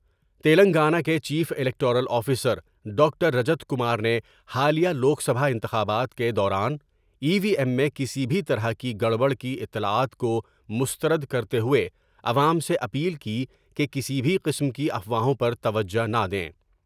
تلنگانہ کے chief electoral officer doctor Rajat Kumar نے حالیہ لوک سبھا انتخابات کے دوران ای وی ایم میں کسی بھی طرح کی گڑ بڑ کی اطلاعات کومستر دکرتے ہوۓ عوام سے اپیل کی کہ کسی بھی قسم کی افواہوں پر توجہ نہ دیں ۔